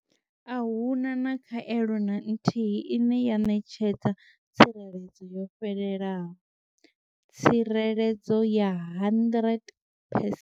Ahuna na khaelo na nthihi ine ya ṋetshedza tsireledzo yo fhelelaho tsireledzo ya 100 percent.